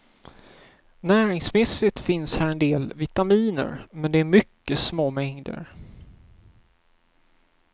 Näringsmässigt finns här en del vitaminer, men det är mycket små mängder.